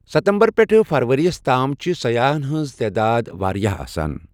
ستمبر پٮ۪ٹھٕ فروریَس تام چھِ سیاحَن ہٕنٛز تعداد واریٛاہ آسان۔